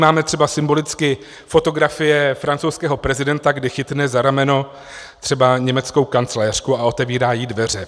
Vnímáme třeba symbolicky fotografie francouzského prezidenta, kdy chytne za rameno třeba německou kancléřku a otevírá jí dveře.